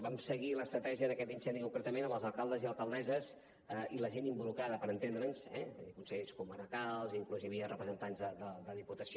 vam seguir l’estratègia d’aquest incendi concretament amb els alcaldes i alcaldesses i la gent involucrada per entendre’ns eh consells comarcals inclús hi havia representants de la diputació